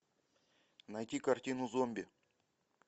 найти картину зомби